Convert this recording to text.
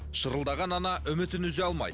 шырылдаған ана үмітін үзе алмайды